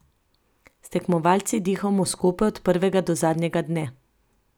S tekmovalci dihamo skupaj od prvega do zadnjega dne.